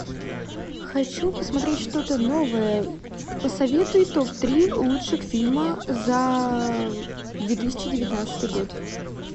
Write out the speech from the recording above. хочу посмотреть что то новое посоветуй топ три лучших фильма за две тысячи девятнадцатый год